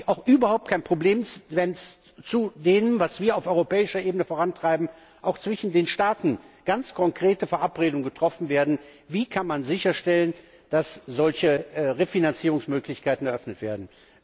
Da habe ich auch überhaupt kein Problem, wenn zu dem, was wir auf europäischer Ebene vorantreiben, auch zwischen den Staaten ganz konkrete Verabredungen getroffen werden, etwa darüber, wie man sicherstellen kann, dass solche Refinanzierungsmöglichkeiten eröffnet werden.